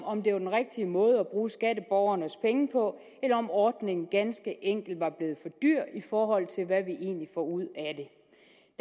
om det var den rigtige måde at bruge skatteborgernes penge på eller om ordningen ganske enkelt var blevet dyr i forhold til hvad vi egentlig får ud af det